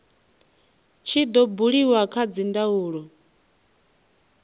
tshi do buliwa kha dzindaulo